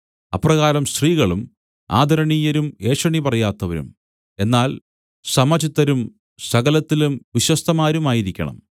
അപ്രകാരം സ്ത്രീകളും ആദരണീയരും ഏഷണി പറയാത്തവരും എന്നാൽ സമചിത്തരും സകലത്തിലും വിശ്വസ്തമാരുമായിരിക്കണം